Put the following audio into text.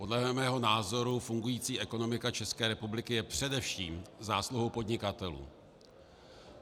Podle mého názoru fungující ekonomika České republiky je především zásluhou podnikatelů.